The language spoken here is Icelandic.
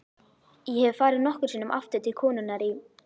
Ég hef farið nokkrum sinnum aftur til konunnar í